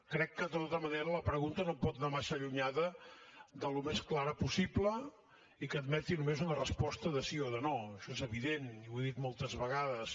crec que de tota manera la pregunta no pot anar massa allunyada del més clara possible i que admeti només una resposta de sí o de no això és evident i ho he dit moltes vegades